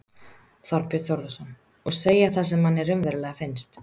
Þorbjörn Þórðarson: Og segja það sem manni raunverulega finnst?